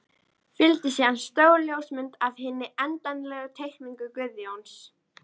Fylgdi síðan stór ljósmynd af hinni endanlegu teikningu Guðjóns.